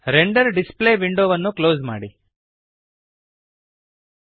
render display ವಿಂಡೋವನ್ನು close ಮಾಡಿರಿ